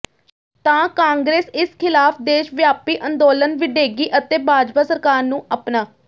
ਤਾਂ ਕਾਂਗਰਸ ਇਸ ਖ਼ਿਲਾਫ਼ ਦੇਸ਼ ਵਿਆਪੀ ਅੰਦੋਲਨ ਵਿੱਢੇਗੀ ਅਤੇ ਭਾਜਪਾ ਸਰਕਾਰ ਨੂੰ ਆਪਣਾ